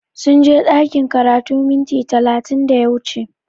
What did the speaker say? Sunje ɗakin karatu minti talatin da ya wuce